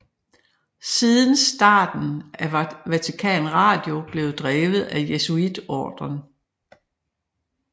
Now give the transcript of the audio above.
Siden starten er Vatikan Radio blevet drevet af Jesuitordren